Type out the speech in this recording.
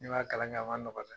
N'i ma kalan kɛ a nɔgɔ